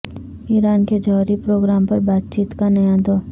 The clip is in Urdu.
ایران کے جوہری پروگرام پر بات چیت کا نیا دور